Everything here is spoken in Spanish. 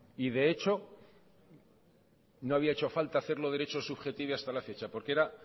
de hecho no había hecho falta hacerlo derecho subjetivo hasta la fecha porque era